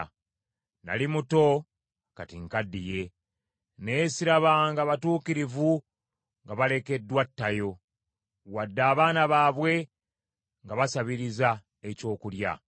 Nnali muto kati nkaddiye, naye sirabanga batuukirivu nga balekeddwa ttayo, wadde abaana baabwe nga basabiriza ekyokulya.